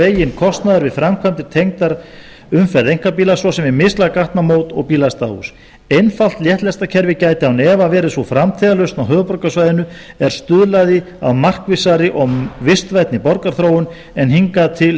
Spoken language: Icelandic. veginn kostnaður við framkvæmdir tengdar umferð einkabíla svo sem við mislæg gatnamót og bílastæðahús einfalt léttlestakerfi gæti án efa verið sú framtíðarlausn á höfuðborgarsvæðinu er stuðlaði að markvissari og vistvænni borgarþróun en hingað til